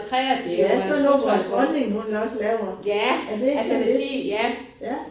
Ja sådan noget vores dronning hun også laver. Er det ikke sådan næsten? Ja